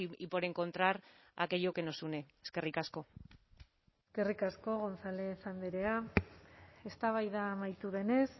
y por encontrar aquello que nos une eskerrik asko eskerrik asko gonzález andrea eztabaida amaitu denez